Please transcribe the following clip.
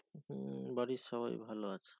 হম বাড়ির সবাই ভালো আছে।